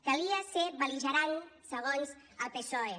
calia ser bel·ligerant segons el psoe